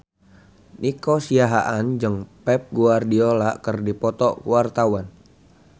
Nico Siahaan jeung Pep Guardiola keur dipoto ku wartawan